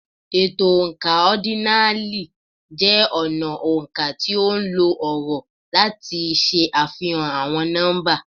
Ètò oǹkà ọ́dínààlí jẹ́ ọnà oǹkà tí ó nlo ọ̀rọ̀ láti ṣe àfihàn àwọn nọ́mbà.